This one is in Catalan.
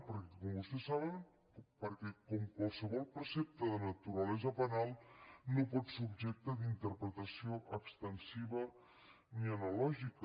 perquè com vostès saben com qualsevol precepte de naturalesa penal no pot ser objecte d’interpretació extensiva ni analògica